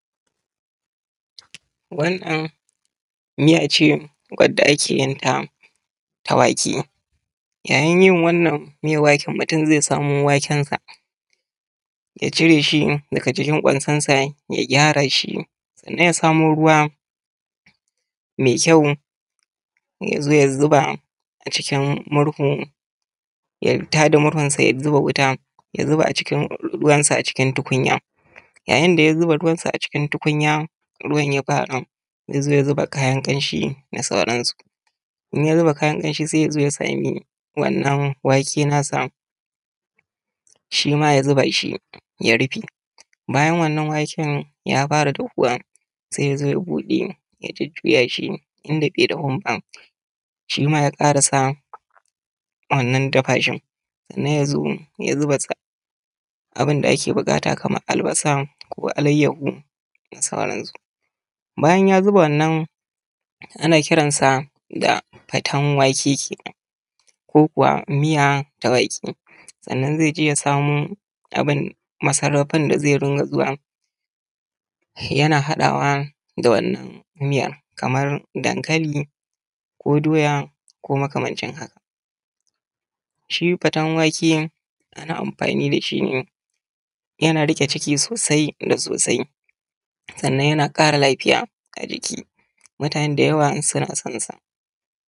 Wanan miya ce wanda ake yin ta ta wake yayin yin wannan miyan wake, mutun zai samo wakensa ya cire shi daga cikin kwansan sa, ya gyara shi, sannan ya samo ruwa mai kyau ya zo ya zuba a cikin murhun, ya tada murhunsa, ya zuba wuta, ya zuba ruwansa a cikin tukunya. Yayin da ya zuba ruwansa a cikin tukunya, ruwan ya fara zai zo ya zuba kayan ƙanshi da sauran su. In ya zuba kayan ƙanshi sai ya zo ya samu wannan wake na sa shi ma ya zuba shi ya rufe. Bayan wannan wake ya fara dafuwa, sai ya zo ya buɗe ya jujjuya shi inda bai dafun ba shima ya ƙarisa wannan dafa shin, sannan ya zo ya zuba abin da ake buƙata kamar albasa, ko alaiahu da sauran su. Bayan ya zuba wannan ana kiransa fatan da wake kenan, ko kuwa miyan da wake sannan zai je ya samo abin da masarafin da zai runga zuwa yana haɗawa da wannan miyan kamar dankali, ko doya, ko makamancin haka. Shi fatan wake ana amfani da shi ne yana riƙe ciki sosai da sosai, sannan yana ƙara lafiya ga jiki. Mutane da yawa suna son sa.